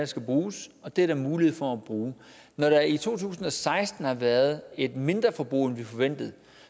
skal bruges og det er der mulighed for at bruge når der i to tusind og seksten har været et mindre forbrug end forventet